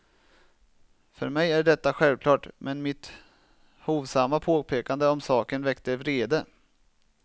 För mig är detta självklart, men mitt hovsamma påpekande om saken väckte vrede.